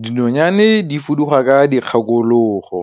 dinonyane di fuduga ka dikgakologo.